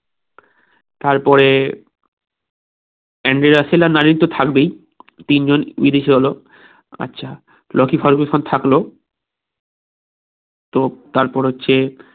তারপরে Andre Russell আর Narine তো থাকবেই তিন জন বিদেশি হলো আচ্ছা লোকী ফারগুসন থাকলো তো তারপর হচ্ছে